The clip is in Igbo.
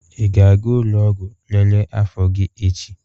Ị ga-aga ụlọ ọgwụ lelee afọ gị echi?